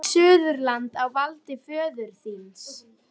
Er þá allt Suðurland á valdi föður þíns?